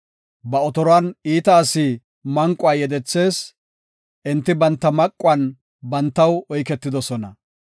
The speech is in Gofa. Ba otoruwan iita asi manquwa yedethees; enti banta maquwan bantaw oyketidosona.